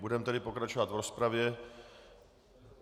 Budeme tedy pokračovat v rozpravě.